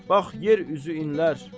Bax, yer üzü inləyir.